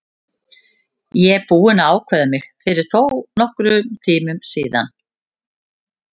Ég er búinn að ákveða mig fyrir þónokkrum tíma síðan.